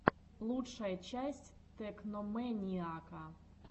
лучшая часть тэкномэниака